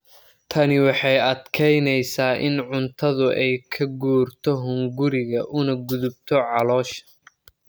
Tani waxay adkeyneysaa in cuntadu ay ka guurto hunguriga una gudubto caloosha.